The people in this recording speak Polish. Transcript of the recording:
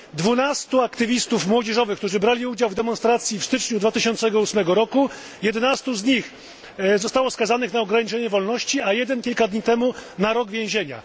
Z 12 aktywistów młodzieżowych, którzy brali udział w demonstracji w styczniu 2008 roku, 11 zostało skazanych na ograniczenie wolności, a jeden kilka dni temu na rok więzienia.